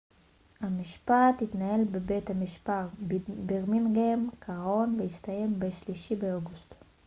המשפט התנהל בבית המשפט בירמינגהאם קראון והסתיים ב-3 באוגוסט